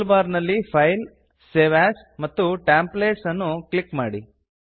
tool bar ನಲ್ಲಿ file save as ಮತ್ತು templates ಅನ್ನು ಕ್ಲಿಕ್ ಮಾಡಿ